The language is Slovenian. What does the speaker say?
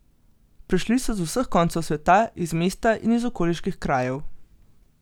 Prišli so z vseh koncev sveta, iz mesta in iz okoliških krajev.